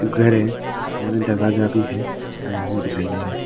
घर है यहा में दरवाजा भी है ।